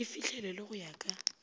e fihlelelwe go ya ka